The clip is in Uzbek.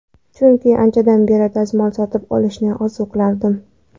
Chunki anchadan beri, dazmol sotib olishni orzu qilardim.